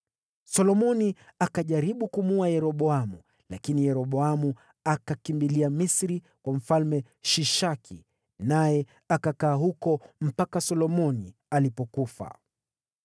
Solomoni akajaribu kumuua Yeroboamu, lakini Yeroboamu akakimbilia Misri, kwa Mfalme Shishaki, naye akakaa huko mpaka Solomoni alipofariki.